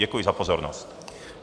Děkuji za pozornost.